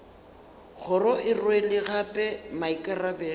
kgoro e rwele gape maikarabelo